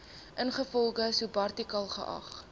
ingevolge subartikel geag